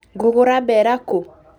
Ngũgũra mbeera kũũ?